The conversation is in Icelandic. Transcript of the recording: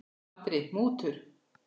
Andri: Mútur?